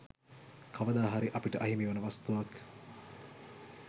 කවදා හරි අපිට අහිමිවන වස්තුවක්.